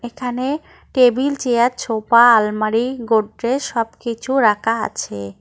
এখানে table chair sofa আলমারি গোদরেজ সবকিছু রাখা আছে।